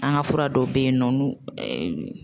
An ka fura dɔ be yen nɔ n'u